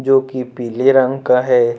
जो की पीले रंग का है।